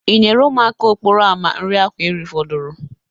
Ị nyere ụmụaka okporo ama a nri ahụ erifudoro?